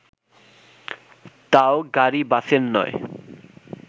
তাও গাড়ি-বাসের নয়